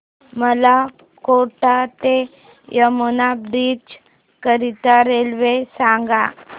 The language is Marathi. मला कोटा ते यमुना ब्रिज करीता रेल्वे सांगा